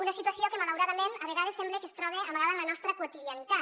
una situació que malauradament a vegades sembla que es troba amagada en la nostra quotidianitat